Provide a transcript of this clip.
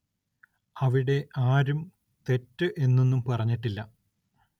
അവിടെ ആരും തെറ്റ് എന്നൊന്നും പറഞ്ഞിട്ടില്ല